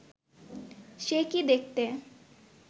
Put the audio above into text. সে কি দেখতে